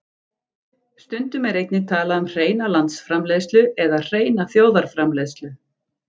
Stundum er einnig talað um hreina landsframleiðslu eða hreina þjóðarframleiðslu.